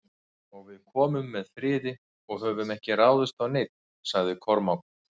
Og við komum með friði og höfum ekki ráðist á neinn, sagði Kormákur.